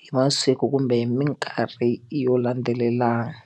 hi masiku kumbe hi mikarhi yo landzelelana.